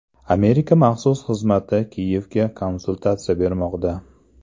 Amerika maxsus xizmati Kiyevga konsultatsiya bermoqda.